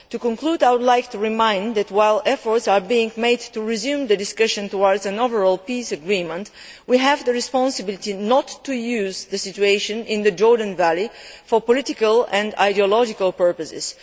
In conclusion, I would like to remind you that, while efforts are being made to resume the discussion towards an overall peace agreement, we have the responsibility not to use the situation in the Jordan Valley for political and ideological purposes.